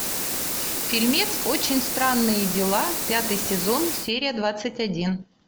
фильмец очень странные дела пятый сезон серия двадцать один